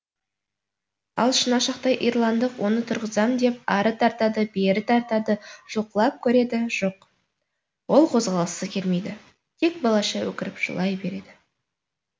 ал шынашақтай ирландық оны тұрғызам деп ары тартады бері тартады жұлқылап көреді жоқ ол қозғалғысы келмейді тек балаша өкіріп жылай береді